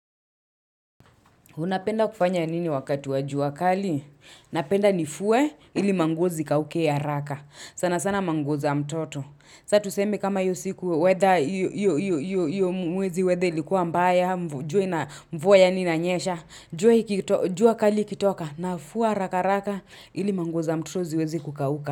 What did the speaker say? Unapenda kufanya nini wakatu wa jua wakali? Napenda nifue ili manguo zikauke haraka. Sana sana manguo za mtoto. Sa tusemi kama hiyo siku, Weather iyo mwezi weather likuwa mbaya, mvua yani inanyesha. Jua kali ikitoka nafua haraka haraka ili manguo za mtoto ziwezi kukauka.